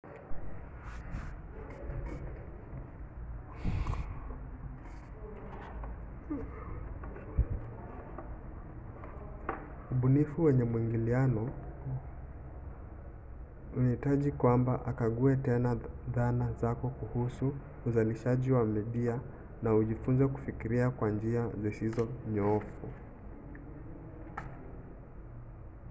ubunifu wenye maingiliano huhitaji kwamba ukague tena dhana zako kuhusu uzalishaji wa midia na ujifunze kufikiria kwa njia zisizo nyoofu